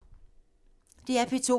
DR P2